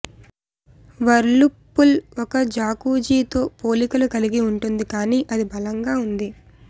Whirlpool ఒక jacuzzi తో పోలికలు కలిగి ఉంటుంది కానీ అది బలంగా ఉంది